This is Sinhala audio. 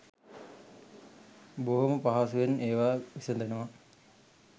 බොහොම පහසුවෙන් ඒවා විසඳනවා